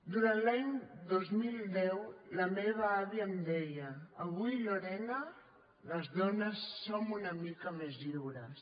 durant l’any dos mil deu la meva àvia em deia avui lorena les dones som una mica més lliures